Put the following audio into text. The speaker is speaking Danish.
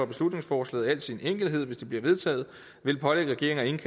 beslutningsforslaget i al sin enkelhed hvis det bliver vedtaget vil pålægge regeringen